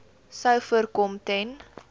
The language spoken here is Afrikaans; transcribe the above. sou voorkom ten